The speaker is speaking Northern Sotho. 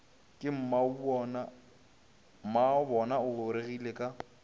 ke mmabona o gorogile ka